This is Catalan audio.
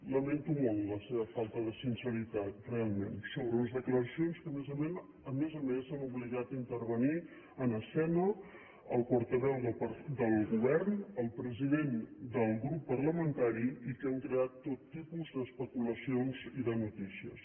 lamento molt la seva falta de sinceritat realment sobre unes declaracions que a més a més han obligat a intervenir en escena el portaveu del govern el president del grup parlamentari i que han creat tot tipus d’especulacions i de notícies